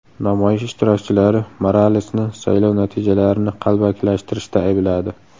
Namoyish ishtirokchilari Moralesni saylov natijalarini qalbakilashtirishda aybladi.